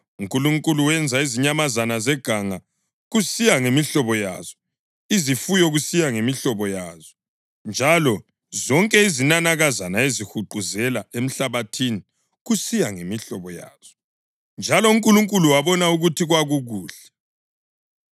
UNkulunkulu wenza izinyamazana zeganga kusiya ngemihlobo yazo, izifuyo kusiya ngemihlobo yazo, njalo zonke izinanakazana ezihuquzela emhlabathini kusiya ngemihlobo yazo. Njalo uNkulunkulu wabona ukuthi kwakukuhle.